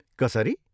कसरी?